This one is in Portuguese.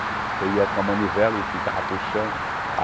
Você ia com a manivela e ficava puxando.